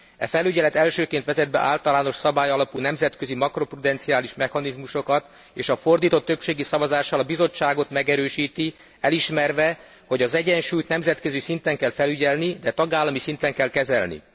E felügyelet elsőként vezet be általános szabályalapú nemzetközi makroprudenciális mechanizmusokat, és a fordított többségi szavazással a Bizottságot megerősíti, elismerve, hogy az egyensúlyt nemzetközi szinten kell felügyelni, de tagállami szinten kell kezelni.